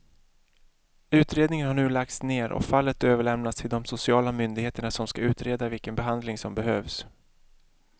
Utredningen har nu lagts ner och fallet överlämnats till de sociala myndigheterna som ska utreda vilken behandling som behövs.